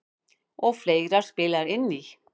Og fleira spilar inn í.